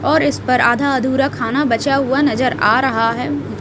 और इस पर आधा अधूरा खाना बचा हुआ नजर आ रहा है।